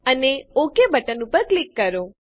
અને OK button ઉપર click કરો